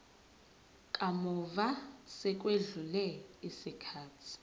kamuva sekwedlule isikhathi